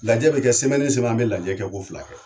Lajɛ bɛ kɛ an bɛ lajɛ kɛ ko fila kɛ.